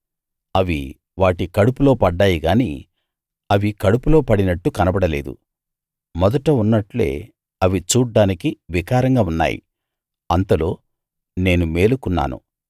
అవి వాటి కడుపులో పడ్డాయి గాని అవి కడుపులో పడినట్టు కనబడలేదు మొదట ఉన్నట్లే అవి చూడ్డానికి వికారంగా ఉన్నాయి అంతలో నేను మేలుకున్నాను